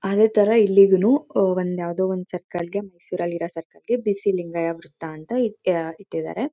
ಅದೇ ತರ ಇಲ್ಲಿಗುನು ಒಂದ್ ಯಾವುದೋ ಒಂದ್ ಸರ್ಕಲ್ಗೆ ಬಿಸಿ ಲಿಂಗಯ್ಯ ವೃತ್ತಂತ ಅಂತ ಅಹ್ ಅಹ್ ಇಟ್ಟಿದ್ದಾರೆ.